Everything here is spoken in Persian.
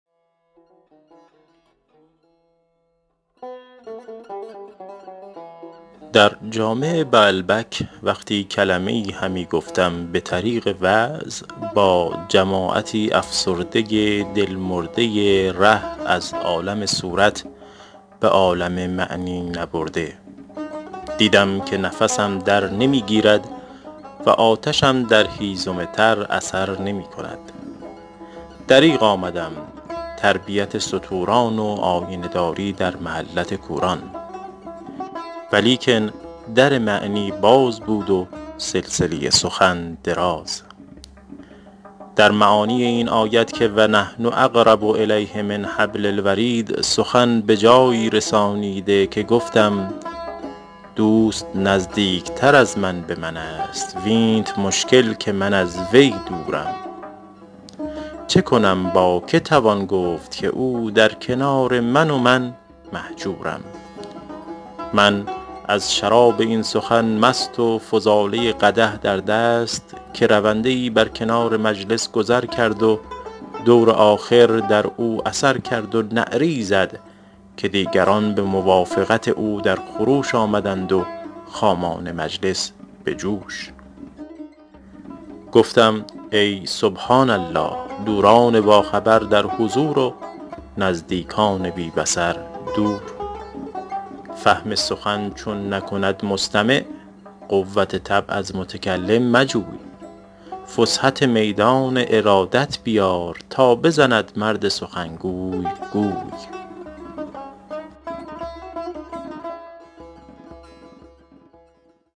در جامع بعلبک وقتی کلمه ای همی گفتم به طریق وعظ با جماعتی افسرده دل مرده ره از عالم صورت به عالم معنی نبرده دیدم که نفسم در نمی گیرد و آتشم در هیزم تر اثر نمی کند دریغ آمدم تربیت ستوران و آینه داری در محلت کوران ولیکن در معنی باز بود و سلسله سخن دراز در معانی این آیت که و نحن اقرب الیه من حبل الورید سخن به جایی رسانیده که گفتم دوست نزدیکتر از من به من است وینت مشکل که من از وی دورم چه کنم با که توان گفت که او در کنار من و من مهجورم من از شراب این سخن مست و فضاله قدح در دست که رونده ای بر کنار مجلس گذر کرد و دور آخر در او اثر کرد و نعره ای زد که دیگران به موافقت او در خروش آمدند و خامان مجلس به جوش گفتم ای سبحان الله دوران باخبر در حضور و نزدیکان بی بصر دور فهم سخن چون نکند مستمع قوت طبع از متکلم مجوی فسحت میدان ارادت بیار تا بزند مرد سخنگوی گوی